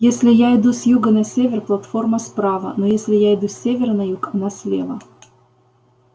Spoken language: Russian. если я иду с юга на север платформа справа но если я иду с севера на юг она слева